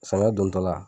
Samiya dontɔ la